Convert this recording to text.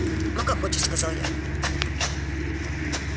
ну как хочешь сказал я